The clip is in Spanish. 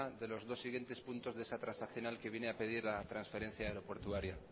de los dos siguientes puntos de esa transaccional que viene a pedir la transferencia aeroportuaria